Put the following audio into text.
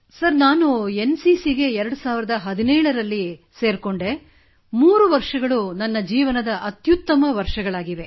sir ನಾನು N CC ಗೆ 2017 ರಲ್ಲಿ ಭರ್ತಿಯಾದೆ ಮತ್ತು ಈ 3 ವರ್ಷಗಳು ನನ್ನ ಜೀವನದ ಅತ್ಯುತ್ತಮ ವರ್ಷಗಳಾಗಿವೆ